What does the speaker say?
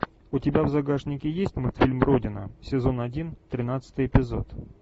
у тебя в загашнике есть мультфильм родина сезон один тринадцатый эпизод